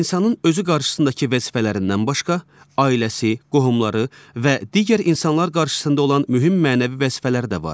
İnsanın özü qarşısındakı vəzifələrindən başqa, ailəsi, qohumları və digər insanlar qarşısında olan mühüm mənəvi vəzifələri də var.